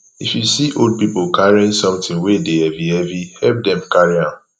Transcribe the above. if you see old pipo carrying something wey de heavy heavy help dem carry am